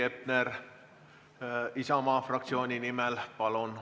Heiki Hepner Isamaa fraktsiooni nimel, palun!